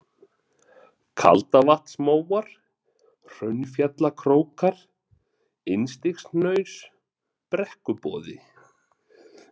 Kaldavatnsmóar, Hraunfjallakrókar, Innstigshnaus, Brekkuboði